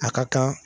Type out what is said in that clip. A ka kan